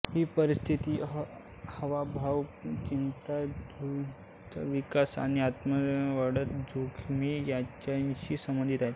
ही परिस्थिती हावभाव चिंतातुरता विकार आणि आत्महत्येच्यावाढत्या जोखमी यांच्याशी संबंधित आहे